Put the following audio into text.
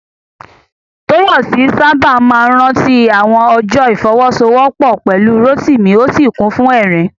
Tóyọ̀sí sáábà máa rántí àwọn ọjọ́ ìfọwọ́sowọ́pọ̀ pẹ̀lú Rótìmí, ó sì kún fún ẹ̀rín